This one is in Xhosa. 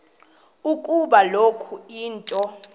ukuba kukho into